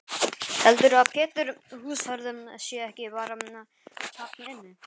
Heldurðu að Pétur húsvörður sé ekki bara þarna inni?